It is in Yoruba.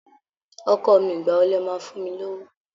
Ọkọ mi, ìgbà wo lẹ máa fún mi lówó?